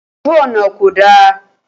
Ojú ọ̀nà kò dáa